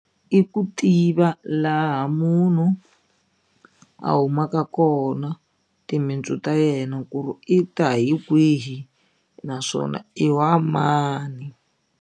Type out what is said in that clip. I ku tiva laha munhu a humaka kona timintsu ta yena ku ri i ta hi kwihi naswona i wa mani.